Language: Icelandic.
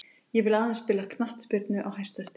Ég vill aðeins spila knattspyrnu á hæsta stigi.